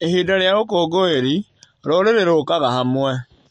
Ihinda rĩa ũkũngũĩri, rũrĩrĩ rũkaga hamwe.